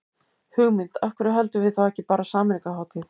Hugmynd, af hverju höldum við þá ekki bara sameiningarhátíð.